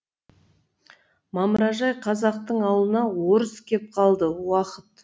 мамыражай қазақтың ауылына орыс кеп қалды уақыт